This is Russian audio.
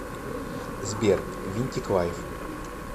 сбер винтик лайф